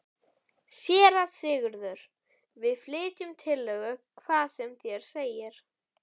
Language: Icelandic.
SÉRA SIGURÐUR: Við flytjum tillögu, hvað sem þér segið.